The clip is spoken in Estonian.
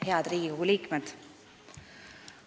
Head Riigikogu liikmed!